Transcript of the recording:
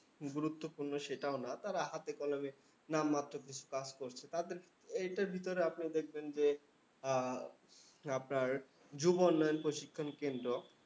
গুরুত্বপূর্ণ সেটাও না। তারা হাতে কলমে নামমাত্র কিছু কাজ করছে। তাদের এইটার ভিতর আপনি দেখবেন যে, আহ আপনার যুব উন্নয়ন প্রশিক্ষণ কেন্দ্র